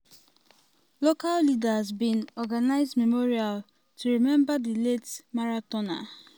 local leaders bin organise memorial to remember di late marathoner.